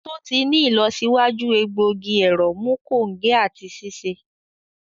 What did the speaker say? To ti ni ilọsiwaju egbogi ẹrọ mu konge ati ṣiṣe.